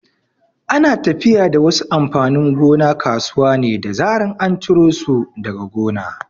Ana tafiya da wasu amfanin gona kasuwa ne da zaran an ciro su daga gona.